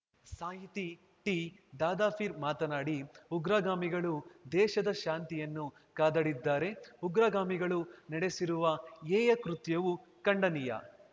ಸಾಹಿತಿ ಟಿದಾದಾಪೀರ್‌ ಮಾತನಾಡಿ ಉಗ್ರಗಾಮಿಗಳು ದೇಶದ ಶಾಂತಿಯನ್ನು ಕದಡಿದ್ದಾರೆ ಉಗ್ರಗಾಮಿಗಳು ನಡೆಸಿರುವ ಹೇಯಕೃತ್ಯವು ಖಂಡನೀಯ